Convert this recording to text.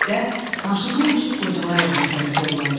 Birlikdə maşından düşüb qocalar evinə tərəf yollandıq.